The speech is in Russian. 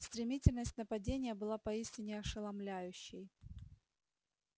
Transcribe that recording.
стремительность нападения была поистине ошеломляющей